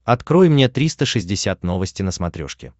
открой мне триста шестьдесят новости на смотрешке